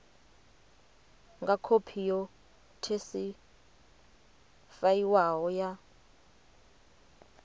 nga khophi yo sethifaiwaho ya